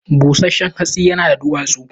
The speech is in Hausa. Bushenshen hatsin yana da duwatsu